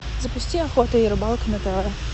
запусти охота и рыбалка на тв